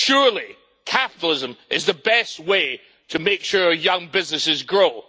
Surely, capitalism is the best way to make sure young businesses grow.